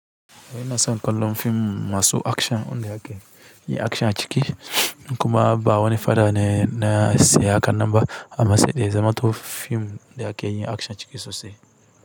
Wai na son kallon fim masu akshan wanda ake yin akshan a ciki? Kuma ba wani faɗa ne na saya haka nan ba, amma saidai ya zamanto fim da ake yin akshan ciki sosai.